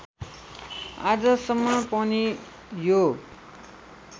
आजसम्म पनि यो